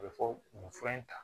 A bɛ fɔ nin fura in ta